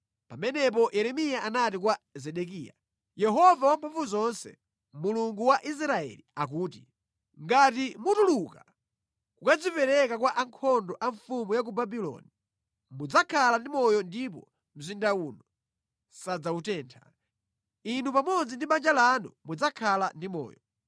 Pamenepo Yeremiya anati kwa Zedekiya, “Yehova Wamphamvuzonse, Mulungu wa Israeli akuti, ‘Ngati mutuluka kukadzipereka kwa ankhondo a mfumu ya ku Babuloni, mudzakhala ndi moyo ndipo mzinda uno sadzawutentha, inu pamodzi ndi banja lanu mudzakhala ndi moyo.